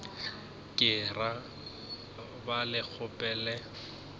ka ra ba le kgopelo